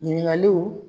Ɲininkaliw